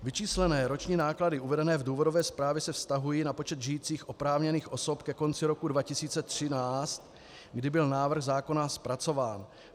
Vyčíslené roční náklady uvedené v důvodové zprávě se vztahují na počet žijících oprávněných osob ke konci roku 2013, kdy byl návrh zákona zpracován.